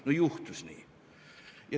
No juhtus nii.